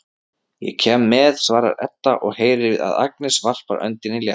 Ég kem með, svarar Edda og heyrir að Agnes varpar öndinni léttar.